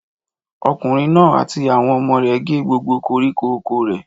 Ọkùnrin náà àti àwọn ọmọ rẹ̀ gé gbogbo koríko oko rẹ̀.